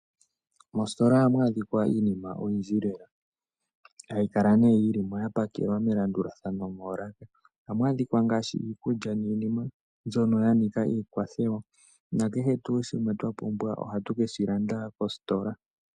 Moositola ohamu adhika iinima oyindji lela, hayi kala nee yili mo ya pakelwa melandulathano moolaka. Ohamu adhika ngaashi iikulya niinima mbyono ya nika iikwathewa, nakehe shimwe twa pumbwa ohatu keshi landa koositola.